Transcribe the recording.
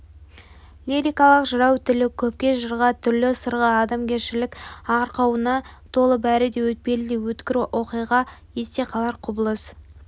лирикалық жырау тілі төкпе жырға түрлі сырға адамгершілік арқауына толы бәрі де өтпелі де өткір оқиға есте қалар құбылыс